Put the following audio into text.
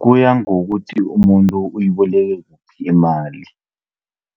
Kuya ngokuthi umuntu uyiboleke kuphi imali.